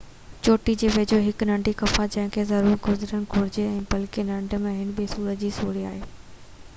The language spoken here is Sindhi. چوٽي جي ويجهو هڪ ننڍي غفا آهي جنهن کان ضرور گذرڻ گهرجي اهو بلڪل ننڍي ۽ ٻي صورت ۾ سوڙي آهي